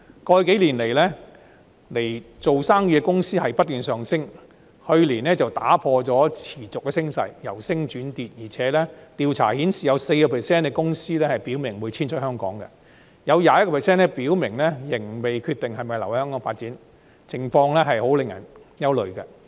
過去幾年，來港做生意的公司數目不斷上升，去年卻打破了持續升勢，由升轉跌，而且調查顯示有 4% 的公司表明會遷出香港，有 21% 的公司表明仍未決定是否留港發展，情況令人憂慮。